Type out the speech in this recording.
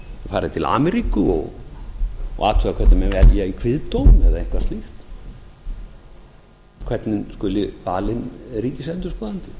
farið til ameríku og athugað hvernig menn velja í kviðdóm eða eitthvað slíkt hvernig skuli valinn ríkisendurskoðandi